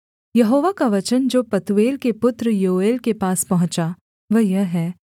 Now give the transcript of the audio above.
यहोवा का वचन जो पतूएल के पुत्र योएल के पास पहुँचा वह यह है